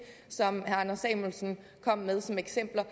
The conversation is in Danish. som herre anders samuelsen kom med som eksempler